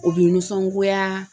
O bɛ nisɔngoya